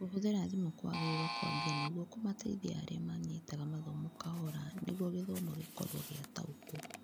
Kũhũthĩra thimũ kũagĩrĩirwo kũambia nĩguo kũmateithia arĩa manyitaga mathomo kahora nĩguo gĩthomo gĩgũkorwo gĩataũkwo.